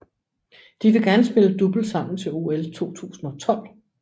De vil gerne spille double sammen til OL 2012